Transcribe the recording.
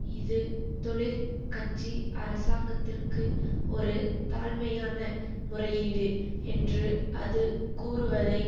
இது தொழிற் கட்சி அரசாங்கத்திற்கு ஒரு தாழ்மையான முறையீடு என்று அது கூறுவதை